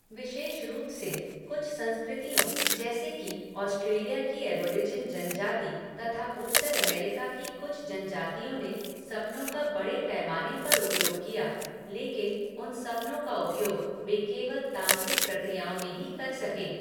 विशेष रूप से, कुछ संस्कृतियों, जैसे कि ऑस्ट्रेलिया की एबोरिजिन जन जाति तथा उत्तर अमेरिका की कुछ जन जातियों ने सपनों का बड़े पैमाने पर उपयोग किया लेकिन उन सपनों का उपयोग वे केवल तांत्रिक प्रक्रियाओं में ही कर सके।